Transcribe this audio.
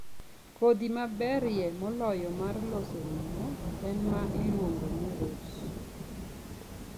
Kodhi maberie moloyo mar loso ring'o en ma iluongo ni Ross.